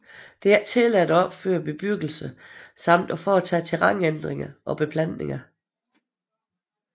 Det er ikke tilladt at opføre bebyggelse samt at foretage terrænændringer og beplantninger